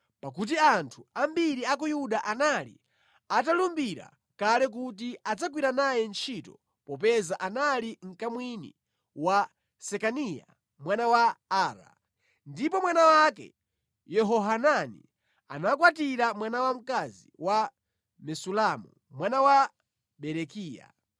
pakuti anthu ambiri a ku Yuda anali atalumbira kale kuti adzagwira naye ntchito popeza anali mkamwini wa Sekaniya mwana wa Ara, ndipo mwana wake Yehohanani anakwatira mwana wamkazi wa Mesulamu mwana wa Berekiya.